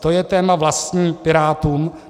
To je téma vlastní Pirátům.